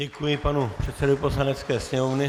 Děkuji panu předsedovi Poslanecké sněmovny.